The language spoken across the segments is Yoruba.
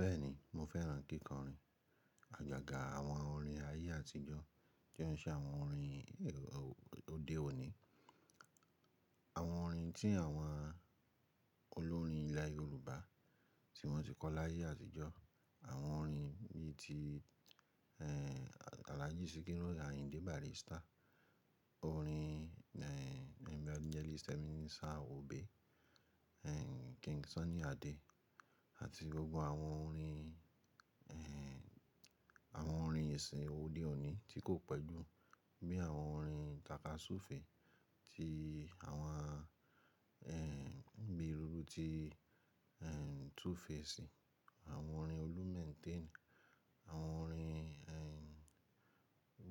Bẹ́ẹ̀ni, mo fẹ́ràn kíkọrin. Ajaga àwọn orin ayé àtijọ́ tí o un ṣe àwọn orin òde òní, àwọn orin tí àwọn olórin ilẹ̀ Yorùbá tí wọ́n ti kọ láyé àtijọ́, àwọn orin bí i ti, eeh, Àlaji sikiru, Ayíndé Bàrístà, orin, eeh, evangelist Ebenezer obey, eeh, King Sunny Adé àti gbogbo àwọn orin, eeh, àwọn orin ìsìn òde òní tí kò pẹ́jú bí i àwọn orin takasufe tí àwọn, eeh, bíi írú ti, eeh, 2Face, àwọn orin Olu mentain, àwọn orin, eeh,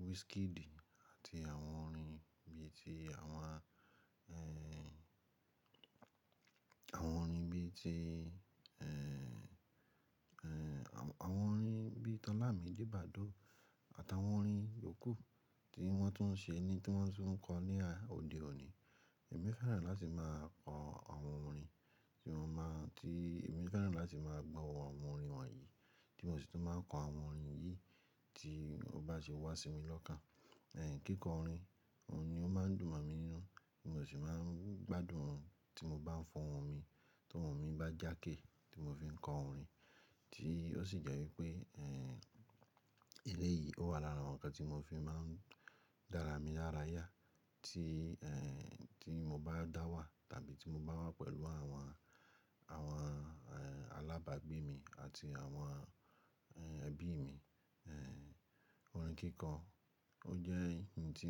Wizkid àti àwọn orin bí i tí àwọn, eeh, àwọn orin bí i tí, eeh, eeh, àwọn orin bí i ti ọ́lámide Badoo àtàwọn orin yòókù tí wọ́n tún ń ṣe ni tí wọ́n tún ń kọ ní òde òní. Èmi fẹ́ràn láti máa kọ àwọn orin tí mo máa, tí èmi fẹ́ràn láti máa gbọ̀ àwọn orin wọ̀nyí tí mo sì tún máa kọ àwọn orin yìí tí ó bá ṣe wá sí mi lọ́kàn. Eeh, kíkọrin, òun ni ó máa ń dùn mọ̀ mí ninú, mo sì máa ń gbádùn òrin tí mo bá ń fọ́ o hun mi, tó hun mi bá jákè tí mo fi ń kọ orin, tí ó sì jẹ́ wípé, eeh, eré yìí ó wà lára àwọn nǹkan tí mo fi máa ń dára mi lára yá tí, eeh, tí mo bá dá wà tàbí tí mo bá wà pẹ̀lú àwọn, àwọn, eeh, alábàgbé mi àti àwọn, eeh, ẹbí mi. Eeh, orin kíkọ, ó jẹ́ ohun tí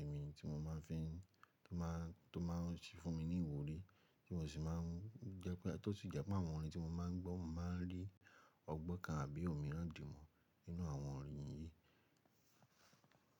èmi tí mo máa fi ń, tó máa, tó máa ń ṣí fún mi ní ìwúrí tí mo sì máa ń jẹ́ pé, tó sì jẹ́ pé àwọn orin tí mo máa ń gbọ̀ máa ń rí ọgbon kan àbí òmíràn di mu nínú àwọn orin yìí.